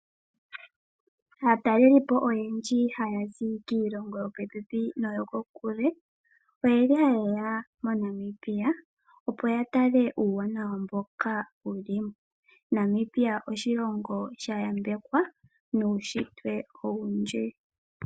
Aatalelipo oyendji haya zi kiilongo yo popepi noyo kokule oyeli haye ya moNamibia. Opo ya tale uuwanawa mboka wu limo. Namibia oshilongo sha yambekwa nuushitwe owundji.